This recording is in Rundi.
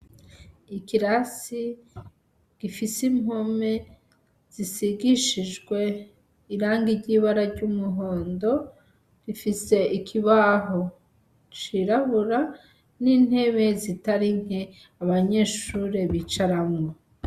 Ikirasi gifise impome zisigishijwe irangi ry'ibara ry'umuhondo, rifise ikibaho cirabura n'intebe zitari nke abanyeshure bicaramwo.